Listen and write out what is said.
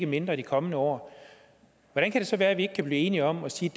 mindre de kommende år hvordan kan det så være at vi ikke kan blive enige om at sige